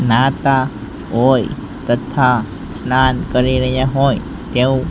નાતા હોય તથા સ્નાન કરી રહ્યા હોય એવુ--